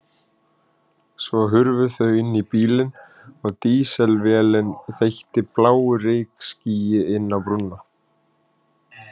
Svo hurfu þau inn í bílinn og dísilvélin þeytti bláu reykskýi inn á brúna.